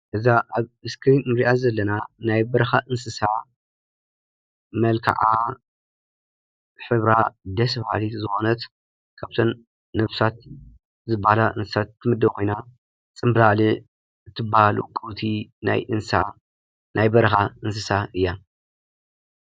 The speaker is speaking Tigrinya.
እዛ ኣብ እስክርን ንርኣ ዘለና ናይ በረካ እንስሳ መልከዓ ሕብራ ደስ በሃልት ዝኮነት ካብዘን ነብሳት ዝባሃላ እንስሳ ትምደብ ኮይና ፅንብላልዕ ትበሃል ውቅብቲ ናይ በረካ እንስሳ እያ።